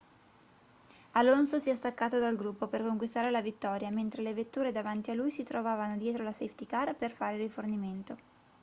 alonso si è staccato dal gruppo per conquistare la vittoria mentre le vetture davanti a lui si trovavano dietro la safety car per fare rifornimento